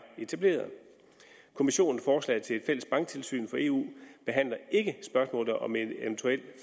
etableret kommissionens forslag til et fælles banktilsyn for eu behandler ikke spørgsmålet om en eventuel